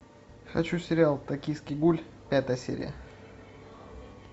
хочу сериал токийский гуль пятая серия